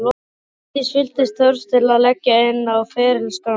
Arndís fylltist þörf til að leggja inn á ferilskrána sína.